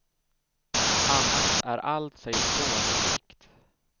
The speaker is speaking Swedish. Annars är allt sig slående likt.